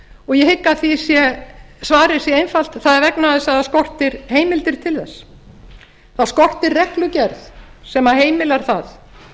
og ég hygg að svarið sé einfalt það er vegna þess að það skortir heimildir til þess það skortir reglugerð sem heimilar það